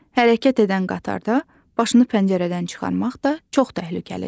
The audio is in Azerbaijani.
Hərəkət edən qatarda başını pəncərədən çıxarmaq da çox təhlükəlidir.